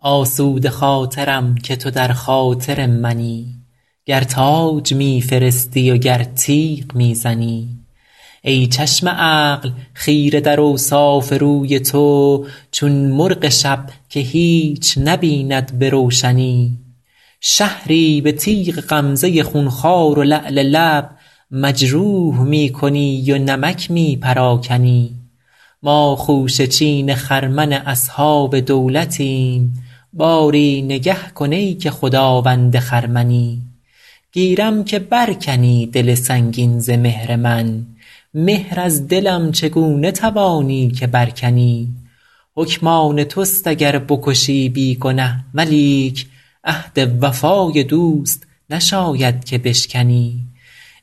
آسوده خاطرم که تو در خاطر منی گر تاج می فرستی و گر تیغ می زنی ای چشم عقل خیره در اوصاف روی تو چون مرغ شب که هیچ نبیند به روشنی شهری به تیغ غمزه خونخوار و لعل لب مجروح می کنی و نمک می پراکنی ما خوشه چین خرمن اصحاب دولتیم باری نگه کن ای که خداوند خرمنی گیرم که بر کنی دل سنگین ز مهر من مهر از دلم چگونه توانی که بر کنی حکم آن توست اگر بکشی بی گنه ولیک عهد وفای دوست نشاید که بشکنی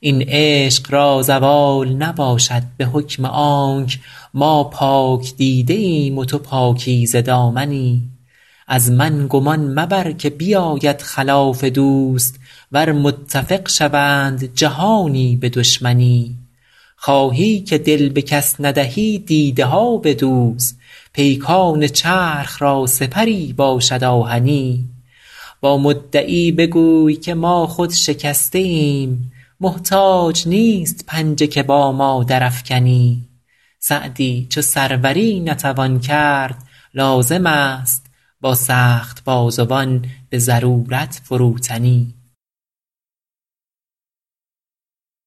این عشق را زوال نباشد به حکم آنک ما پاک دیده ایم و تو پاکیزه دامنی از من گمان مبر که بیاید خلاف دوست ور متفق شوند جهانی به دشمنی خواهی که دل به کس ندهی دیده ها بدوز پیکان چرخ را سپری باشد آهنی با مدعی بگوی که ما خود شکسته ایم محتاج نیست پنجه که با ما درافکنی سعدی چو سروری نتوان کرد لازم است با سخت بازوان به ضرورت فروتنی